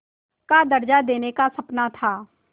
का दर्ज़ा देने का सपना था